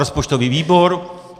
Rozpočtový výbor?